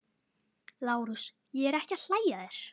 LÁRUS: Ég er ekki að hlæja að þér.